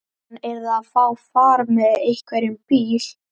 Hann yrði að fá far með einhverjum bíl.